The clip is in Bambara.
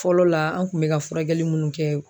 Fɔlɔ la an kun bɛ ka furakɛli minnu kɛ.